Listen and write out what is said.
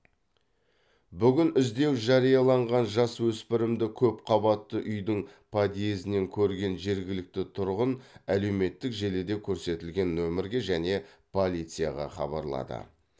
бүгін іздеу жарияланған жасөспірімді көпқабатты үйдің подъездінен көрген жергілікті тұрғын әлеуметтік желіде көрсетілген нөмірге және полицияға хабарлады